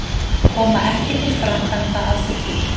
Koma ekki til framkvæmda að fullu